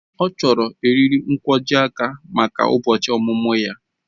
Ọ chọrọ eriri nkwojiaka maka ụbọchị ọmụmụ ya